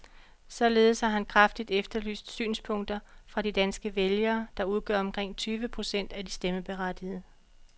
Således har han kraftigt efterlyst synspunkter fra de danske vælgere, der udgør omkring tyve procent af de stemmeberettigede.